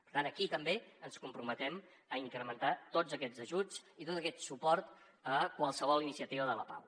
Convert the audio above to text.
per tant aquí també ens comprometem a incrementar tots aquests ajuts i tot aquest suport a qualsevol iniciativa de la pau